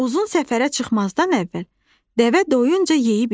Uzun səfərə çıxmazdan əvvəl, dəvə doyuncayeyib içir.